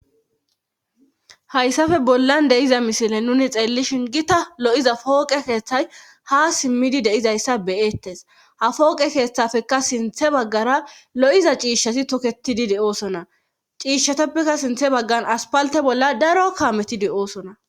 Hayssafe bollan deyiza misile nuni xeellishin gita lo'iza pooqe keeththay ha simmidi deizayssa beyeettes ha fooqe keeththafeka sinthe baggara lo'iza ciishshasi toketidi de'oosona ciishsheteppekka sinthe baggan aspalte bolla daro kaametidi oosona.